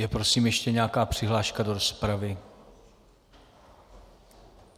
Je prosím ještě nějaká přihláška do rozpravy?